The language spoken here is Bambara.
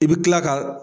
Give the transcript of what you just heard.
I bi kila ka